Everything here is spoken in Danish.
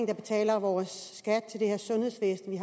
der betaler vores skat til det her sundhedsvæsen vi